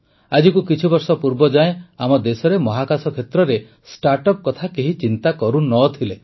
ଆଜିକୁ କିଛିବର୍ଷ ପୂର୍ବ ଯାଏଁ ଆମ ଦେଶରେ ମହାକାଶ କ୍ଷେତ୍ରରେ ଷ୍ଟାର୍ଟଅପ୍ କଥା କେହି ଚିନ୍ତା କରୁନଥିଲେ